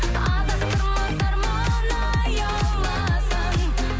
адастырмас арман аяуласаң